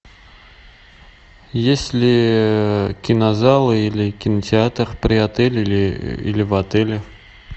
есть ли кинозалы или кинотеатр при отеле или в отеле